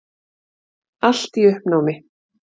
Allt í uppnámi.